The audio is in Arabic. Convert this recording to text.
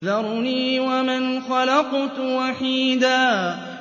ذَرْنِي وَمَنْ خَلَقْتُ وَحِيدًا